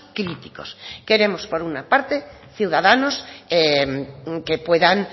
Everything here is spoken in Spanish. críticos queremos por una parte ciudadanos que puedan